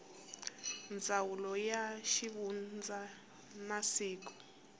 ndzawulo ya xivundza na siku